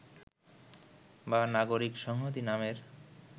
বা নাগরিক সংহতি নামের